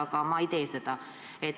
Ma siiski ei tee seda.